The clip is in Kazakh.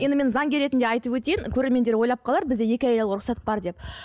енді мен заңгер ретінде айтып өтейін көреремендер ойлап қалар бізде екі әйел алуға рұқсат бар деп